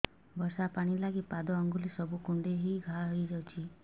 ବର୍ଷା ପାଣି ଲାଗି ପାଦ ଅଙ୍ଗୁଳି ସବୁ କୁଣ୍ଡେଇ ହେଇ ଘା ହୋଇଯାଉଛି